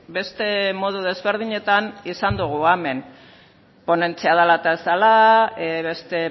beste modu desberdinetan izan dugu hemen ponentzia dela eta ez dela beste